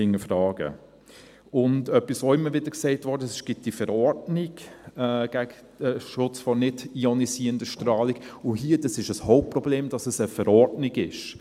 Etwas, das auch immer wieder gesagt wurde: Es gibt diese NISV, und ein Hauptproblem ist, dass es eine Verordnung ist;